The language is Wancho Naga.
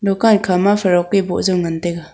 dukan kha ma frock pi bo jau ngan taiga.